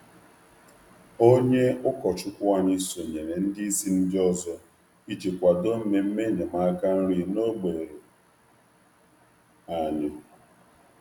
Onye ụkọchukwu anyị sonyere ndị ndú ndị ọzọ iji kwado atụmatụ nri ógbè.